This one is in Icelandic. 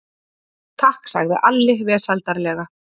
Takk, sagði Alli vesældarlega.